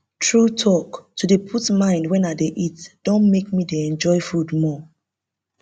true talk to dey put mind wen i dey eat don make me dey enjoy food more